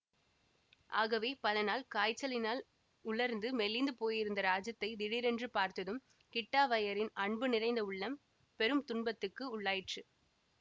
ஆகவே பல நாள் காய்ச்சலினால் உலர்ந்து மெலிந்து போயிருந்த ராஜத்தைத் திடீரென்று பார்த்ததும் கிட்டாவய்யரின் அன்பு நிறைந்த உள்ளம் பெரும் துன்பத்துக்கு உள்ளாயிற்று